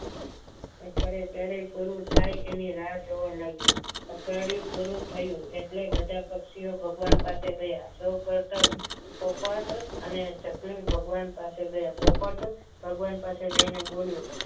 અઠવાડિયા ક્યારે પૂરું થાય એની રાહ જોવા લાગ્યા અઠવાડિયું પૂરું થયું એટલે બધા પક્ષીઓ ભગવાન પાસે ગયા પોપટ અને ચકલી ભગવાન પાસે ગયા પોપટ ભગવાન પાસે જઈને બોલ્યો